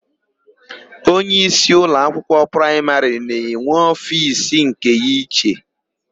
Onyeísí ụlọakwụkwọ praịmarị na-enwe ofiisi nke ya iche.